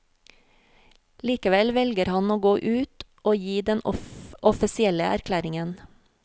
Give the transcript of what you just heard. Likevel velger han å gå ut og gi den offisielle erklæringen.